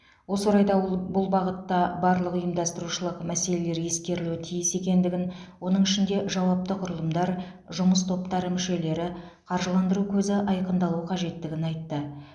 осы орайда ол бұл бағытта барлық ұйымдастырушылық мәселелер ескерілуі тиіс екендігін оның ішінде жауапты құрылымдар жұмыс топтары мүшелері қаржыландыру көзі айқындалуы қажеттігін айтты